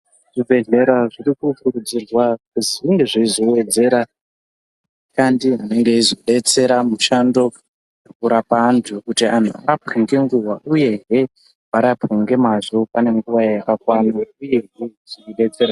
Zvibhedhlera zvirikukurudzirwa kuzi zvinge zveizowedzera ashandi anenge eizodetsera mushando wekurapa antu kuti anhu arapwe ngenguva uyehe varapwe ngemazvo pane nguva yakakwana uyehe zveiidetsera ...